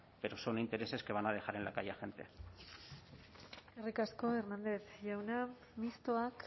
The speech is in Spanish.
pero son intereses que van a dejar en la calle a gente eskerrik asko hernández jauna mistoak